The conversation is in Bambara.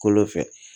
Kolo fɛ